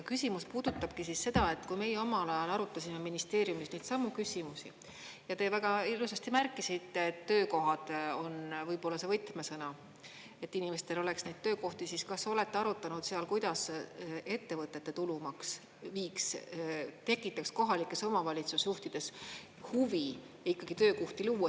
Küsimus puudutabki seda, et kui meie omal ajal arutasime ministeeriumis neidsamu küsimusi ja te väga ilusasti märkisite, et töökohad on võib-olla see võtmesõna, et inimestel oleks neid töökohti, siis kas olete arutanud, kuidas ettevõtete tulumaks tekitaks kohalikes omavalitsusjuhtides huvi ikkagi töökohti luua.